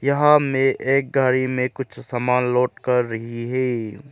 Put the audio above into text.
यहां में एक गाड़ी में कुछ समान लोड कर रही है।